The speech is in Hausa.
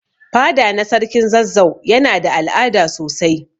Fada na sarkin zazzau Yana da al'ada sosai.